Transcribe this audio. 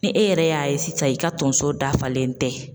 Ni e yɛrɛ y'a ye sisan i ka tonso dafalen tɛ